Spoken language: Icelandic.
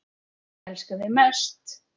Elska þig mest.